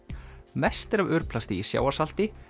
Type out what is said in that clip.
mest er af örplasti í sjávarsalti